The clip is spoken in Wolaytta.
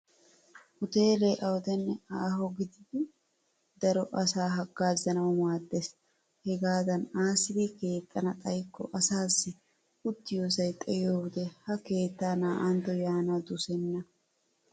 Uteelee awudenne aaho gididi daro asaa haggaazanawu maaddes. Hegaadan aassidi keexxana xayikko asaassi uttiyoosay xayiyoode ha keettaa naa'antto yaanawu dosenna.